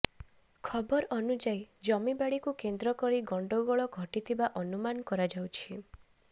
ଖବର ଅନୁଯାୟୀ ଜମିବାଡିକୁ କେନ୍ଦ୍ର କରି ଗଣ୍ଡଗୋଳ ଘଟିଥିବା ଅନୁମାନ କରାଯାଉଛି